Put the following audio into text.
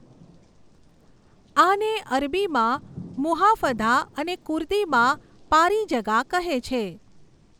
આને અરબીમાં મુહાફધા અને કુર્દીમાં પારિજગા કહે છે.